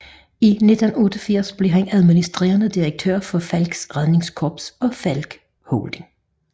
I 1988 blev han administrerende direktør for Falcks Redningskorps og Falck Holding